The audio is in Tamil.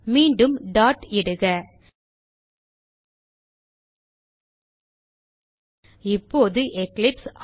மீண்டும் டாட் இடுக இப்போது எக்லிப்ஸ்